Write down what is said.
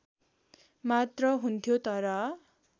मात्र हुन्थ्यो तर